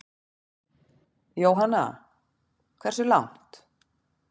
Jóhanna: Hversu langt?